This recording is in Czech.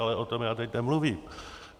Ale o tom já teď nemluvím.